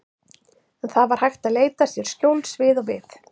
En það var hægt að leita sér skjóls við og við.